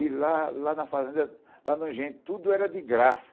E lá, lá na fazenda, lá no engenho, tudo era de graça.